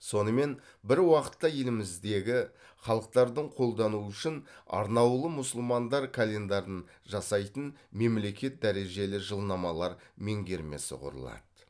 сонымен бір уақытта еліміздегі халықтардың қолдануы үшін арнаулы мұсылмандар календарын жасайтын мемлекет дәрежелі жылнамалар меңгермесі құрылады